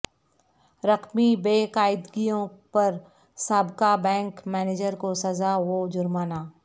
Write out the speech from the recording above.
رقمی بے قاعدگیوں پر سابقہ بینک منیجر کو سزاء و جرمانہ